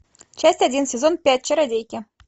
часть один сезон пять чародейки